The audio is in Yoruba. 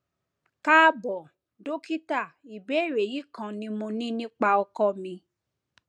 káàbọ dókítà ìbéèrè yìí kan ni mo ní nípa ọkọ mi